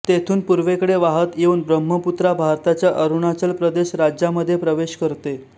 तेथून पूर्वेकडे वाहत येऊन ब्रह्मपुत्रा भारताच्या अरुणाचल प्रदेश राज्यामध्ये प्रवेश करते